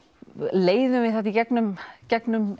leiðum við þetta í gegnum gegnum